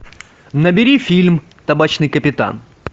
набери фильм табачный капитан